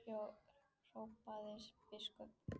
hrópaði biskup.